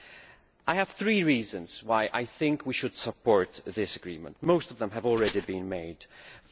There are three reasons why I think we should support this agreement, most of which have already been mentioned.